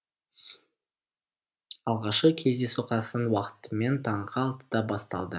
алғашқы кездесу қазақстан уақытымен таңғы алтыда басталды